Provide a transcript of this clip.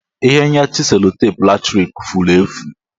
Ihe nyachi sellotape latrik furu efu